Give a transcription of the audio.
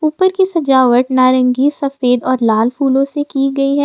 ऊपर की सजावट नारंगी सफेद और लाल फूलों से की गई है।